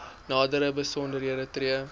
nadere besonderhede tree